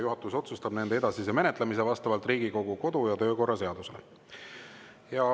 Juhatus otsustab nende edasise menetlemise vastavalt Riigikogu kodu‑ ja töökorra seadusele.